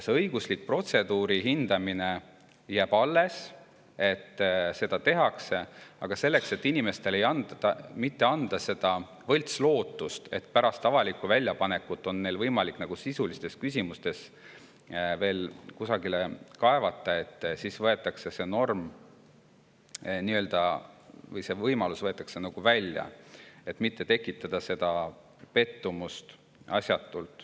See õiguslik protseduuri hindamine jääb alles, seda tehakse, aga selleks, et mitte anda inimestele võltslootust, et pärast avalikku väljapanekut on neil võimalik sisulistes küsimustes veel kusagile kaevata, siis võetakse see norm või see võimalus välja, et mitte asjatult pettumust tekitada.